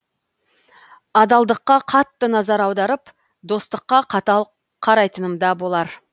адалдыққа қатты назар аударып достыққа қатал қарайтынымда болар